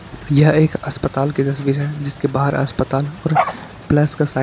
यह एक अस्पताल की तस्वीर है जिसके बाहर अस्पताल और प्लस का साइन --